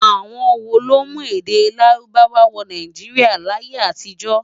Awòn wó ló mú èdè Lárúbáwá wò Náijiriá láyé-átijò.?